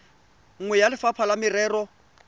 nngwe ya lefapha la merero